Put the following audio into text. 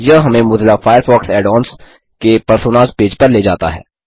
यह हमें Mozilla Firefox add ons के पर्सोनास पेज पर ले जाता है